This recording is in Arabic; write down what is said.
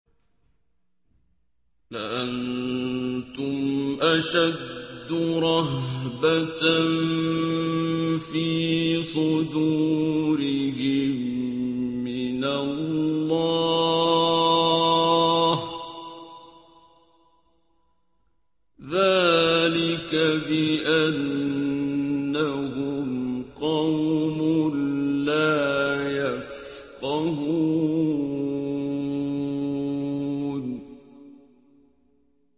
لَأَنتُمْ أَشَدُّ رَهْبَةً فِي صُدُورِهِم مِّنَ اللَّهِ ۚ ذَٰلِكَ بِأَنَّهُمْ قَوْمٌ لَّا يَفْقَهُونَ